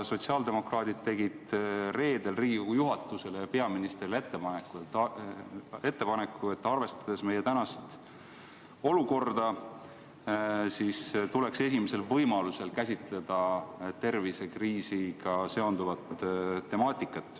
Sotsiaaldemokraadid tegid reedel Riigikogu juhatusele ja peaministrile ettepaneku, et arvestades olukorda, tuleks esimesel võimalusel käsitleda tervisekriisiga seonduvat temaatikat.